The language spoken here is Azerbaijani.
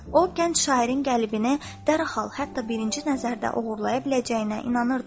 O, gənc şairin qəlbini dərhal, hətta birinci nəzərdə oğurlaya biləcəyinə inanırdı.